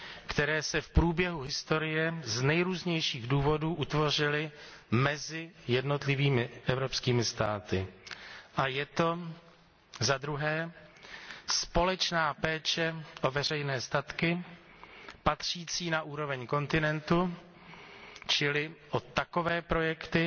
které se v průběhu historie z nejrůznějších důvodů utvořily mezi jednotlivými evropskými státy, a za druhé společná péče o veřejné statky patřící na úroveň kontinentu, čili o takové projekty,